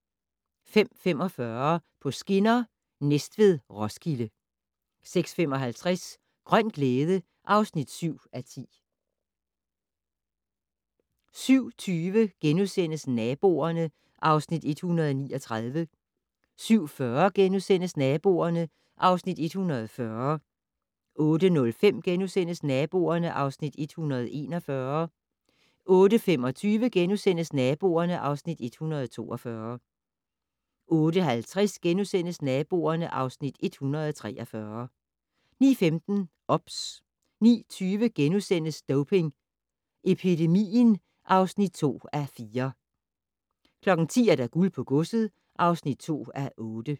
05:45: På skinner: Næstved-Roskilde 06:55: Grøn glæde (7:10) 07:20: Naboerne (Afs. 139)* 07:40: Naboerne (Afs. 140)* 08:05: Naboerne (Afs. 141)* 08:25: Naboerne (Afs. 142)* 08:50: Naboerne (Afs. 143)* 09:15: OBS 09:20: Doping Epidemien (2:4)* 10:00: Guld på godset (2:8)